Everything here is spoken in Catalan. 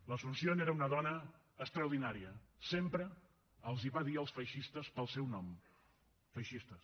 l’asunción era una dona extraordinària sempre els va dir als feixistes pel seu nom feixistes